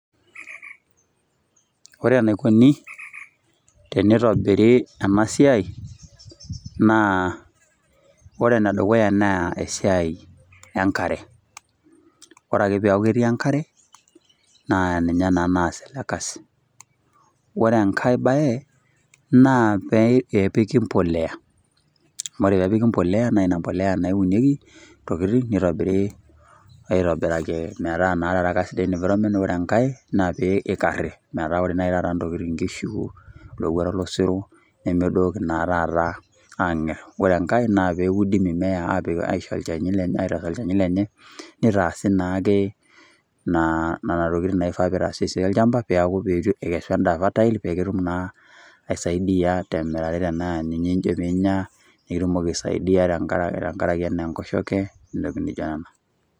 Ore enaikuni teneitobiri ena siaai naa ore enedukuya naa esiai enkare, ore ake peeku ketii enkare naa ninye naa naas ele kasi. Ore enkae bae naa peepiki mpolea, amu ore peepiki mpolea naa ina mpolea naa eunieki ntokitin, neitobiri aitobiraki metaa naa taata kasidai environment, ore enkae naa peikarri metaa ore naaji ntokitin nkishu, ilowuarak losero nemedooki naa taata aang'err. Ore enkae naa peudi mimea aaisho olchani lenye, neitaasi naake nena tokitin naifaa peitaasi esia olchamba, peeku ikesu endaa fertile peekitum naa aisaidia temirare tenaa ninye ijo piinya, nikitumoki aisaidia tenkarake anaa enkoshoke ntokitin naijo nena.